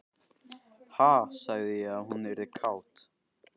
Ha, sagði ég að hún yrði kát?